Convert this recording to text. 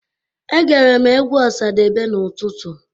Egere m egwu Ọsadebe n'utụtụ.